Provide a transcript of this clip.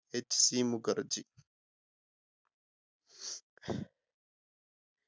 HC Mukherjee